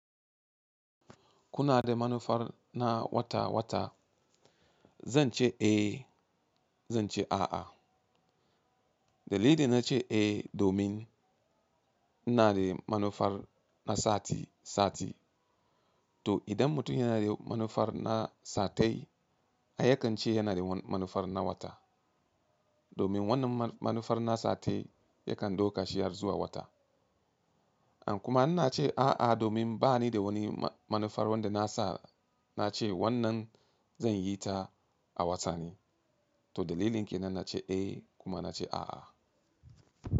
Kuna da manufar na wata wata. Zan ce eh, zan ce a'a. Dalilin na ce eh domin ina da manufar na sati sati. To idan mutum yana da manufar na satai, a yakan ce yana da manufar na wata. Domin wannan manufar na satai yakan dauka shekaru zuwa wata. An kuma na ce a'a domin ba ni da wani manufar wanda na sa na ce wannan zan yi ta a wata ne. To dalilin ke na ce eh kuma na ce a'a.